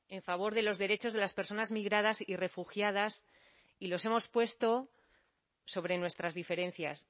en favor de los derechos de las personas migradas y refugiadas y los hemos puesto sobre nuestras diferencias